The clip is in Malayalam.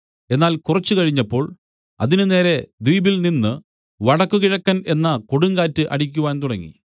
എന്നാൽ കുറച്ച് കഴിഞ്ഞപ്പോൾ അതിനുനേരേ ദ്വീപിൽനിന്ന് വടക്കുകിഴക്കൻ എന്ന കൊടുങ്കാറ്റ് അടിക്കുവാൻ തുടങ്ങി